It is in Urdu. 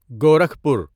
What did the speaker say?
گورکھپور